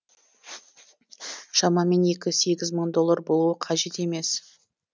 шамамен екі сегіз мың доллар болуы қажет емес